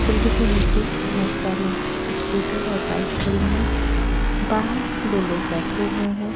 Building के नीचे बहुत सारी स्कूटर और बाइक खड़ी हैं बाहर दो लोग बैठे हुए हैं।